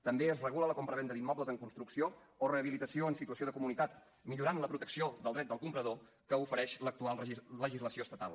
també es regula la compravenda d’immobles en construcció o rehabilitació en situació de comunitat millorant la protecció del dret del comprador que ofereix l’actual legislació estatal